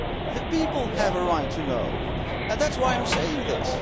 The people have a right to know, and that is why I am saying this.